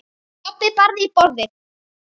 Pabbi barði í borðið.